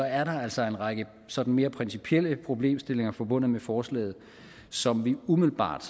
er der altså en række sådan mere principielle problemstillinger forbundet med forslaget som vi umiddelbart